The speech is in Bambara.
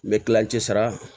N bɛ kilancɛ sara